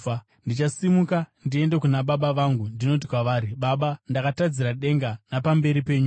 Ndichasimuka ndiende kuna baba vangu ndinoti kwavari: Baba, ndakatadzira denga napamberi penyuwo.